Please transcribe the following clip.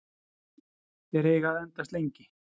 Þeir eiga að endast lengi.